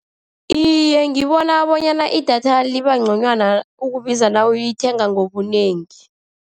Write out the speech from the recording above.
Iye, ngibona bonyana idatha liba ngconywana ukubiza nawuyithenga ngobunengi.